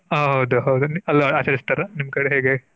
ಹೌದು ಹೌದು ಅಲ್ಲೂ ಆಚರಿಸ್ತಾರ ನಿಮ್ ಕಡೆ ಹೇಗೆ?